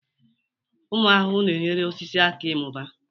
Ụmụ ahụhụ na-enyere osisi aka ịmụba.